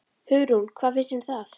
Hugrún: Hvað finnst þér um það?